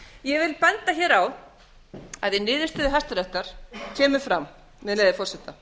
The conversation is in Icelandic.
ég vil benda hér á að í niðurstöðu hæstaréttar kemur fram með leyfi forseta